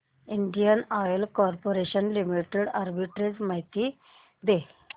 Indian Oil Corporation Limited arbitrage माहिती दे